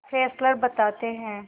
Fessler बताते हैं